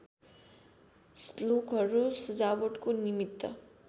श्लोकहरू सजावटको निमित्त